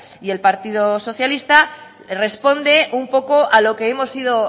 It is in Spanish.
y el partido socialista responde un poco a lo que hemos ido